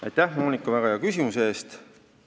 Aitäh, Monika, väga hea küsimuse eest!